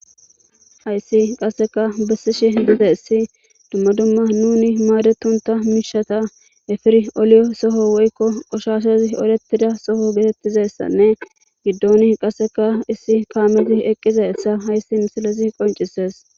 Hayssi qasseka bessishe diza issi dumma dumma nuni maadetonta miishata efiri oliyo soho woykko qoshashezi oletida soho getettizessanne giddoni qasseka issi kaamizi eqqizassa hayssi misilezi qoncises.